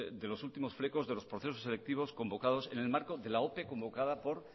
de los últimos flecos de los procesos selectivos en el marco de la ope convocada por